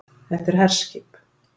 Þetta er herskip